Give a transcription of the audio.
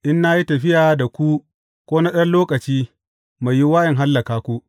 In na yi tafiya da ku ko na ɗan lokaci, mai yiwuwa in hallaka ku.